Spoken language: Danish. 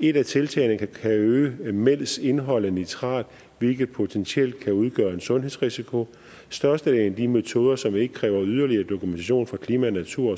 et af tiltagene kan øge mælks indhold af nitrat hvilket potentielt kan udgøre en sundhedsrisiko størstedelen af de metoder som ikke kræver yderligere dokumentation for klima natur